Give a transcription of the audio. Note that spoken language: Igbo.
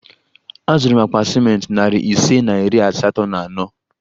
Azụrụ m akpa ciment narị ise na iri asatọ na ano